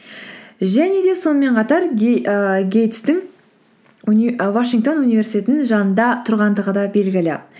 және де сонымен қатар ііі гейтстің вашингтон университетінің жанында тұрғандығы да белгілі